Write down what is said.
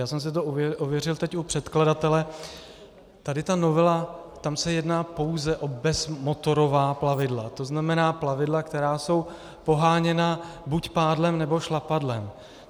Já jsem si to ověřil teď u předkladatele, tady ta novela, tam se jedná pouze o bezmotorová plavidla, to znamená plavidla, která jsou poháněna buď pádlem, nebo šlapadlem.